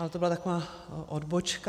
Ale to byla taková odbočka.